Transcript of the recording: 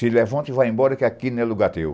Se levante e vá embora, que aqui não é lugar teu.